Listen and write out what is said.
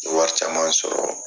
N ye wari caman in sɔrɔ